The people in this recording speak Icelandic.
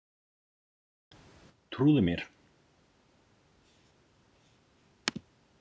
Trúðu mér.